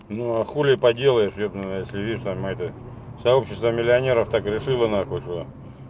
ну а хули поделаёшь ёб твою мать если видишь там это сообщество миллионеров так решила нахуй что